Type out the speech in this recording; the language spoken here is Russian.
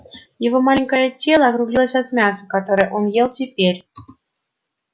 его маленькое тело округлилось от мяса которое он ел теперь